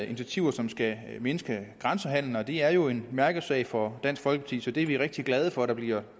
initiativer som skal mindske grænsehandelen og det er jo en mærkesag for dansk folkeparti så det er vi rigtig glade for at der bliver